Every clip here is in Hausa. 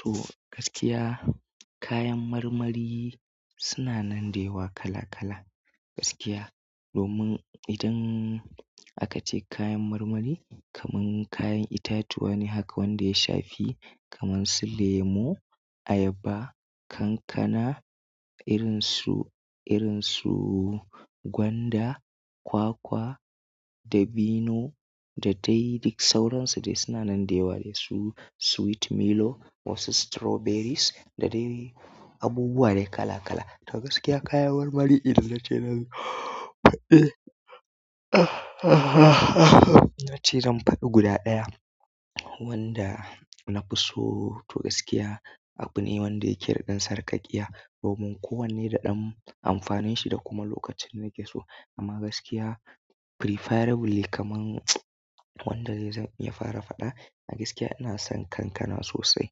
To gaskiya kayan marmari suna nan da yawa kala kala. Gaskiya domin idan aka ce kayan marmari kamar kayan itatuwa ne haka wanda ya shafi kamar su lemo, ayaba, kankana irin su, irin su gwanda, kwakwa dabino da dai duk sauransu da suna nan da yawa dai su sweet milo wasu strawberries da dai abubuwa dai kala kala. To gaskiya kayan marmari idan nace zan faɗe na ce zan faɗi guda ɗaya wanda na fi so. To gaskiya abu ne wanda yake ɗan sarƙaƙiya domin kowanne da ɗan amfanin shi da kuma lokacin da yake so. Amma gaskiya preferably kamar wanda zai zan ya fara faɗa. A gaskiya ina son kankana sosai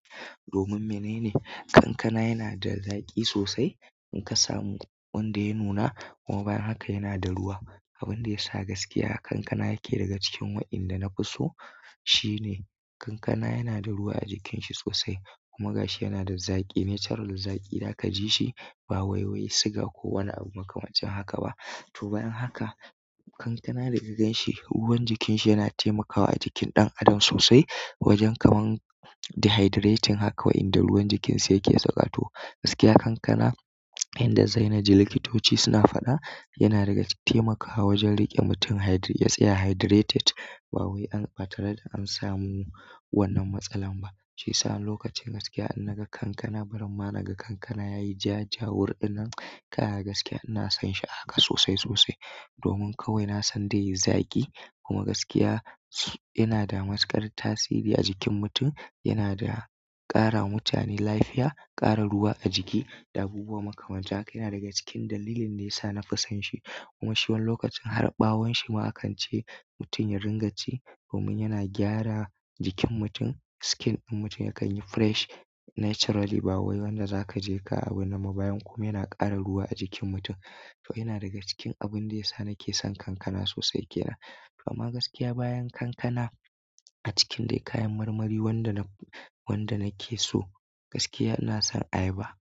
domin menene? Kankana yana da zaƙi sosai in ka samu wanda ya nuna kuma bayan haka yana da ruwa. Abin da ya sa gaskiya kankana yake daga cikin waɗanda na fi so shine kankana yana da ruwa a jikin shi sosai kuma gashi yana da zaƙi natural zaƙi zaka jishi ba waiwai sugar ko wani abu makamancin haka ba. To bayan haka kankana da kaganshi ruwan jikin shi yana taimakawa a jikin ɗan adam sosai wajen kamar dehydrating haka wa'inda ruwan jikin sa yake sauka to. Gaskiya kankana yanda dai naji likitoci suna faɗa yana daga taimakawa wajen riƙe mutum ya tsaya hydrated ba wai an batare da an samu wannan matsalar ba. Shiyasa wani lokacin gaskiya in naga kankana barin ma naga kankana yayi jajawur ɗin nan kana gaskiya ina son shi a haka sosai da sosai, domin kawai nasan zai yi zaƙi, kuma gaskiya yanada matuƙar tasiri a jikin mutum yana da ƙara mutane lafiya, ƙara ruwa a jiki da abubuwa makamancin haka yana daga cikin dalilin da ya sa na fi son shi. Kuma shi wani lokacin har ɓawon shi ma akan ce mutum ya ringa ci domin yana gyara jikin mutum. Skin ɗin mutum yakan yi fresh naturally ba wai wanda za ka je ka wani ba bayan. Kuma yana ƙara ruwa a jikin mutum. To yana daga cikin abin da ya sa nake son kankana sosai kenan. Amma gaskiya bayan kankana a cikin dai kayan marmari wanda naf, wanda na ke so gaskiya ina son ayaba.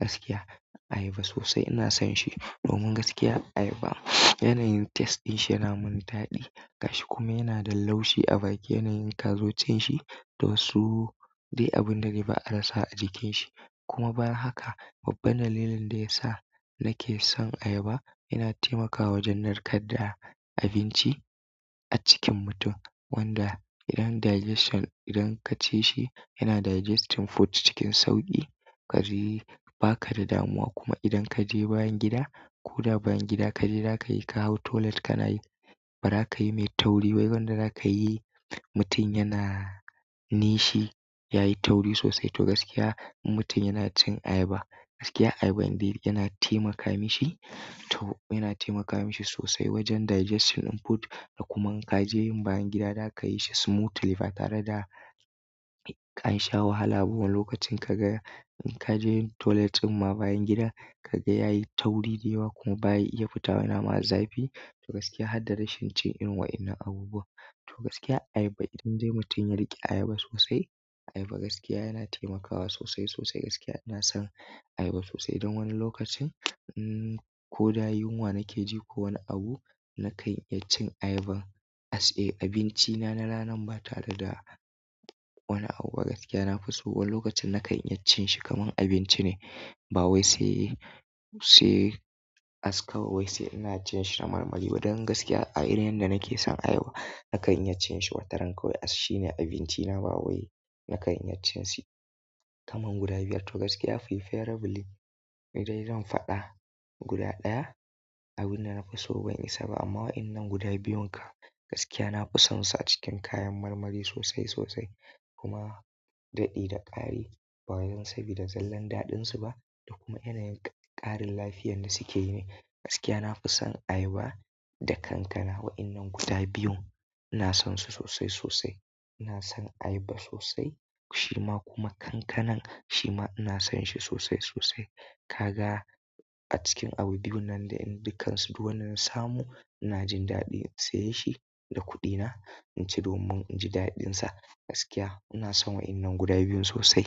Gaskiya ayaba sosai ina son shi domin gaskiya ayaba yanayin taste ɗin shi yana min daɗi. Gashi kuma yana da laushi a baki yanayin kazo cin shi da wasu dai abin da dai ba a rasa a jikin shi. Kuma bayan haka babban dalilin da ya sa nake son ayaba yana taimakawa wajen narkar da abinci a cikin mutum wanda idan digestion idan ka ci shi yana digesting food cikin sauƙi. Kaji ba ka da damuwa kuma idan ka je bayan gida ko da bayan gida ka je za ka yi ka hau toilet ka na yi ba za ka yi mai tauri ba. Wai wanda za ka yi mutum yana nishi yayi tauri sosai. To gaskiya in mutum yana cin ayaba gaskiya ayaba indai yana taimaka mishi to yana taimaka mishi sosai wajen digestion input da kuma in ka je yin bayan gida za ka yi shi smoothly ba tare da an sha wahala ba wani lokacin kaga in ka je yin toilet ma bayan gida, kaga yayi tauri da yawa kuma bayi iya fitowa nama a zafi. To gaskiya hadda rashin cin irin wa'innan abubuwam. To gaskiya ayaba idan dai mutum ya riƙe ayaba sosai, ayaba gaskiya yana taimakawa sosai sosai. Gaskiya ina son ayaba sosai. Idan wani lokacin um, ko da yunwa nake ji ko wani abu nakan iya cin ayaban as a abincina na ranan ba tare da wani abu ba gaskiya na fi so. Wani lokacin na ƙayyace cin shi kamar abinci ne ba wai sai, sai as kawai wai sai ina cin shi na marmari ba. Don gaskiya a irin yadda nake son ayaba nakan iya cin shi wataran kawai as shine abincina ba wai nakan iya cin shi kamar guda biyar. To gaskiya preferably in dai zan faɗa guda ɗaya, abin da na fi so ban isa ba amma wa'innan guda biyun kam gaskiya na fi son su a cikin kayan marmari sosai sosai. Kuma daɗi da ƙari ba wajen sabida zallan daɗin su ba da kuma yanayin ƙarin lafiyar da suke yi ne. Gaskiya nafi son ayaba da kankana, wa'innan guda biyun ina sonsu sosai da sosai ina son ayaba sosai shima kuma kankanan shima ina son shi sosai sosai. Kaga a cikin abu biyu nan dai in dukkan su duk wanda zan samu ina jin daɗi in saye shi da kuɗi na iaci domin in ji daɗin sa. Gaskiya ina son wa'innan guda biyun sosai.